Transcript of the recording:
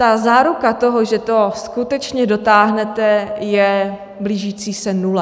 Ta záruka toho, že to skutečně dotáhnete, je blížící se nule.